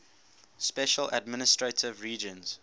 special administrative regions